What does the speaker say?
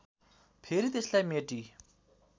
फेरि त्यसलाई मेटी